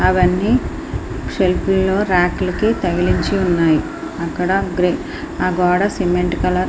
అవన్నీ సెల్ఫీ లోనే రాక్లెకి తగిలించి ఉన్నాయి. అక్కడ గ్రే గోడకి సిమెంట్ కలర్ --